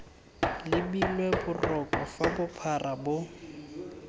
lebilwe borogo fa bophara bo